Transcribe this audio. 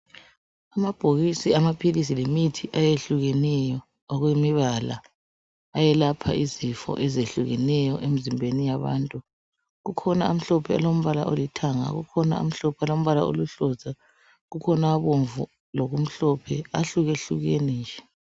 Amabhokisi amaphilisi lemithi eyehlukeneyo okwemibala ayelapha izifo ezehlukeneyo emizimbeni yabantu. Kukhona amhlophe alombala olithanga kukhona amhlophe alombala oluhlaza, kukhona abomvu lokumhlophe ahlukhlukene nje.